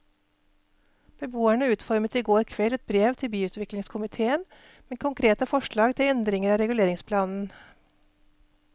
Beboerne utformet i går kveld et brev til byutviklingskomitéen med konkrete forslag til endringer av reguleringsplanen.